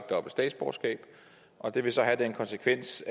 dobbelt statsborgerskab det vil så have den konsekvens